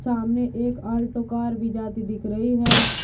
सामने एक Alto car भी जाती दिख रही है।